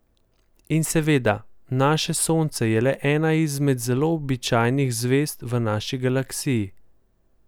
In seveda, naše Sonce je le ena izmed zelo običajnih zvezd v naši Galaksiji.